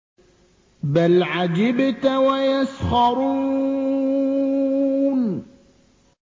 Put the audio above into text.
بَلْ عَجِبْتَ وَيَسْخَرُونَ